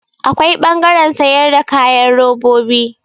Akwai ɓangaren sayar da kayan robobi.